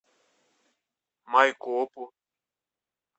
майкопу